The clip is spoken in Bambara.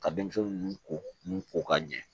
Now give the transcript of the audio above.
Ka denmisɛnnin ninnu ko ninnu ko ka ɲɛ